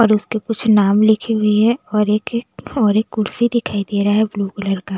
और उसके कुछ नाम लिखी हुई है और एक और एक कुर्सी दिखाई दे रहा है ब्लू कलर का --